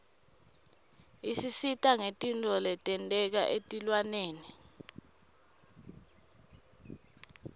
isisita ngetintfo letenteka etilwaneni